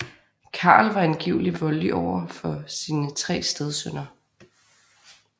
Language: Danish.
Carl var angiveligt voldelig over for sine tre stedsønner